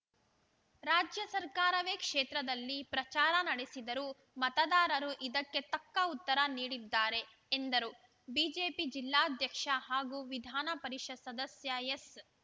ರಾಜ್ಯ ಸರ್ಕಾರವೇ ಕ್ಷೇತ್ರದಲ್ಲಿ ಪ್ರಚಾರ ನಡೆಸಿದರೂ ಮತದಾರರು ಇದಕ್ಕೆ ತಕ್ಕ ಉತ್ತರ ನೀಡಿದ್ದಾರೆ ಎಂದರು ಬಿಜೆಪಿ ಜಿಲ್ಲಾಧ್ಯಕ್ಷ ಹಾಗೂ ವಿಧಾನ ಪರಿಷತ್‌ ಸದಸ್ಯ ಎಸ್‌